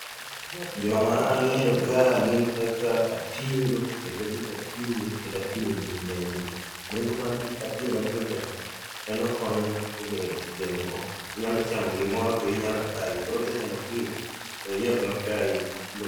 Joma ang'eyo ka gin kaka apilo kendo it apilo, kendo apilo nigi nengo. Nengo mar apilo mathindo thindo gi en okonyo e gengo, inyalo chamo gimoro to iyi nyalo kayi, koro kichamo apilo to iyi ok bi kayi